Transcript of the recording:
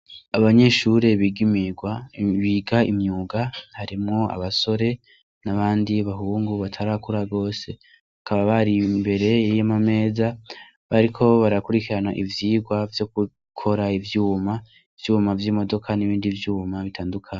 Abanyeshure biga imyuga harimwo abasore n' abandi bahungu batarakura gose bakaba bari imbere y' amameza bariko barakurikirana ivyigwa vyo gukora ivyuma ivyuma vyimodoka nibindi vyuma bitandukanye.